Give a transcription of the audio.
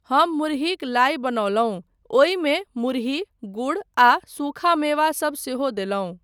हम मुरहिक लाइ बनौलहुँ, ओहिमे मुरहि, गुड़ आ सूखा मेवा सब सेहो देलहुँ।